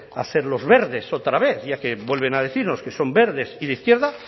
a ser los verdes otra vez ya que vuelven a decirnos que son verdes y de izquierda